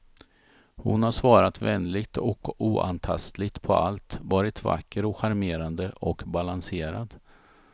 Hon har svarat vänligt och oantastligt på allt, varit vacker och charmerande och balanserad.